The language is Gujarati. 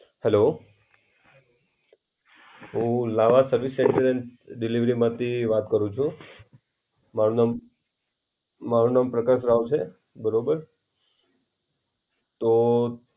Hello હું લાવા સર્વિસ સ્ટેશન ડિલિવરી માંથી વાત કરું છે. મારું નામ મારું નામ પ્રકાશ રાવ છે. બરોબર તો